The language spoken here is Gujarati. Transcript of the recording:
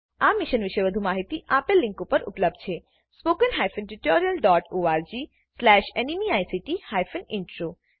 આ મિશન પર વધુ માહીતી આપેલ લીંક પર ઉપલબ્ધ છે spoken hyphen tutorial dot org slash NMEICT hyphen intro